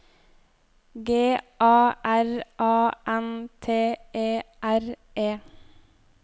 G A R A N T E R E